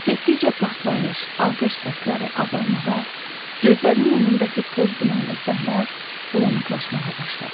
Getdikcə partlayış, atəş səsləri azalmağa, gözlərinin önündəki toz-dumanlı səhnə bulanıqlaşmağa başladı.